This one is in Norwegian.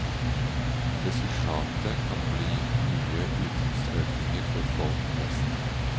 Resultatet kan bli nye utgiftsøkninger for folk flest.